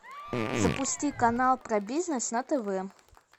запусти канал про бизнес на тв